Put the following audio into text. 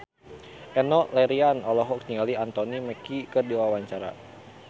Enno Lerian olohok ningali Anthony Mackie keur diwawancara